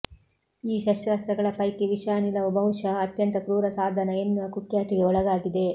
ಈ ಶಸ್ತ್ರಾಸ್ತ್ರಗಳ ಪೈಕಿ ವಿಷಾನಿಲವು ಬಹುಶಃ ಅತ್ಯಂತ ಕ್ರೂರ ಸಾಧನ ಎನ್ನುವ ಕುಖ್ಯಾತಿಗೆ ಒಳಗಾಗಿದೆ